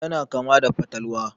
Yana kama da fatalwa.